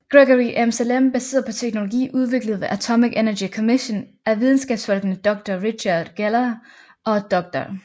Gregory Emsellem baseret på teknologi udviklet ved Atomic Energy Commission af videnskabsfolkene Dr Richard Geller og Dr